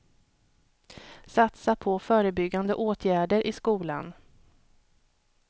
Satsa på förebyggande åtgärder i skolan.